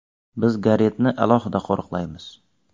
Biz Garetni alohida qo‘riqlamaymiz”.